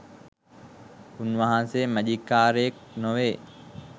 උන්වහන්සේ මෑජික්කාරයෙක් නොවේ